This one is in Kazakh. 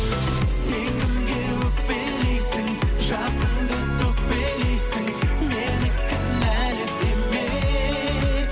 сен кімге өкпелейсің жасыңды төкпелейсің мені кінәлі деме